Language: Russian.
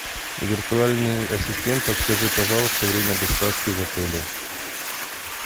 виртуальный ассистент подскажи пожалуйста время доставки в отеле